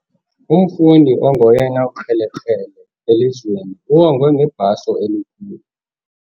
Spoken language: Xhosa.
Umfundi ongoyena ukrelekrele elizweni uwongwe ngebhaso elikhulu.